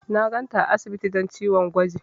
Na ganta a asibiti don ciwon gwaji.